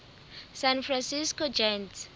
san francisco giants